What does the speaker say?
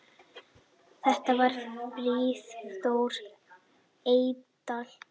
Þetta var Friðþór Eydal.